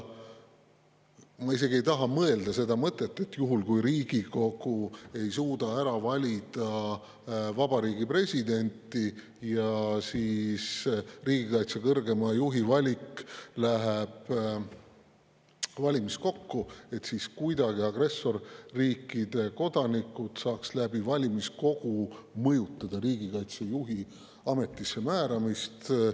Ma isegi ei taha mõelda seda mõtet, et juhul, kui Riigikogu ei suuda ära valida Vabariigi Presidenti ja riigikaitse kõrgeima juhi valik läheb valimiskokku, siis kuidagi agressorriikide kodanikud saaks valimiskogu kaudu mõjutada riigikaitse kõrgeima juhi ametisse määramist.